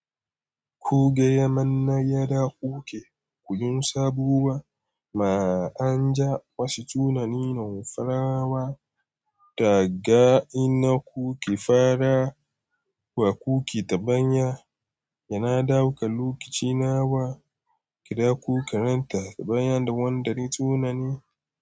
Ko gaya manne yada kuke kuyin sabuwa ma an ja wasu tunani nomfrawa da ga ina kuke fara wa kuke ta ban ya yana dauka lokaci nawa kira ku karanta bayan da wanda ne tunani.